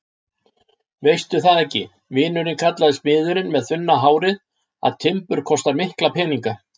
Veistu það ekki, vinurinn kallar smiðurinn með þunna hárið, að timbur kostar mikla peninga?